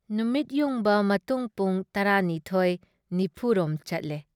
ꯅꯨꯃꯤꯠ ꯌꯨꯡꯕ ꯃꯇꯨꯡ ꯄꯨꯡ ꯱꯲.꯴꯰ ꯔꯣꯝ ꯆꯠꯂꯦ ꯫